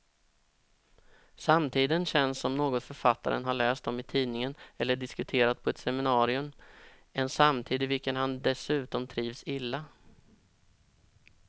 Samtiden känns som något författaren har läst om i tidningen eller diskuterat på ett seminarium, en samtid i vilken han dessutom trivs illa.